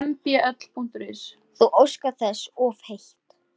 Þú óskar þess of heitt